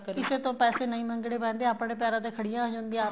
ਕਿਸੇ ਤੋ ਪੈਸੇ ਨਹੀਂ ਮੰਗਣੇ ਪੈਂਦੇ ਆਪਣੇ ਪੈਰਾ ਤੇ ਖੜੀਆਂ ਹੋ ਜਾਂਦੀਆਂ